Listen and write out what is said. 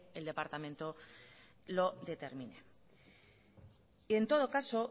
el departamento lo determine en todo caso